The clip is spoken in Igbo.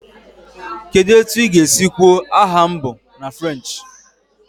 Kedu otu ị ga-esi kwuo "aha m bụ..." na French?